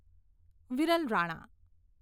Viral Rana